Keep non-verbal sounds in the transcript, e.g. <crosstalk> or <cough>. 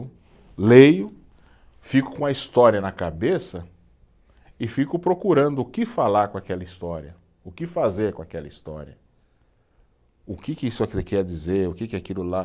<unintelligible> Leio, fico com a história na cabeça e fico procurando o que falar com aquela história, o que fazer com aquela história, o que que isso aqui quer dizer, o que aquilo lá.